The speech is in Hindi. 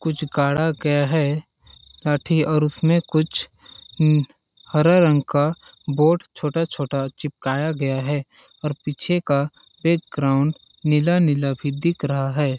कुछ गाढ़ा गया है लाठी और उसमे कुछ हम्म हरा रंग का बोट छोटा-छोटा चिपकाया गया है और पीछे का बैकग्राउंड नीला-नीला भी दिख रहा है।